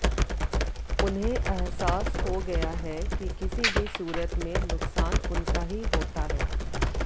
उन्हें एहसास हो गया है कि किसी भी सूरत में नुकसान उनका ही होता है